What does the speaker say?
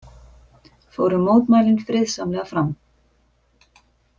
Fóru mótmælin friðsamlega fram